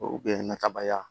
O kun ye natabaliya ye